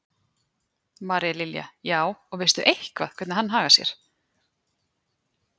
María Lilja: Já, og veistu eitthvað hvernig hann hagar sér?